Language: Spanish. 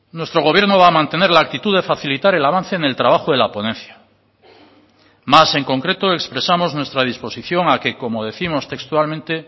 nuestro gobierno va a mantener la actitud de facilitar el avance en el trabajo de la ponencia más en concreto expresamos nuestra disposición a que como décimos textualmente